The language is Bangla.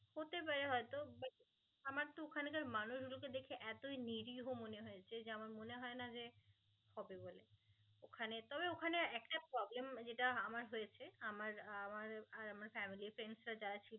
ওখানে তবে ওখানে একটা problem যেটা আমার হয়েছে আমার আমার আর আমার family friends রা যারা ছিল